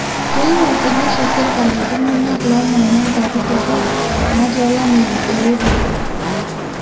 keyieu ake serikali neisho iltungana loomanya nkuapi torrok naati olameyu eretoto